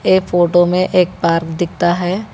ये फोटो में एक पार्क दिखता है।